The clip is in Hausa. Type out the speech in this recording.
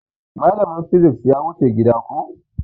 Malamin fisis ya wuce gida koh